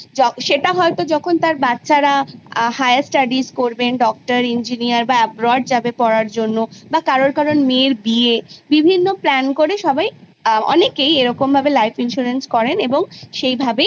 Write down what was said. সেটা হয়ত যখন তার বাচ্চারা higher studies করবে doctor engineer বা abroad যাবে পড়ার জন্য বা কারুর মেয়ের বিয়ে বিভিন্ন plan করে অনেকেই এরকম ভাবে life insurance করেন এবং সেভাবেই